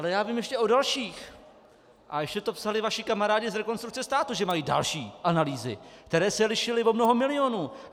Ale já vím ještě o dalších a ještě to psali vaši kamarádi z Rekonstrukce státu, že mají další analýzy, které se lišily o mnoho milionů.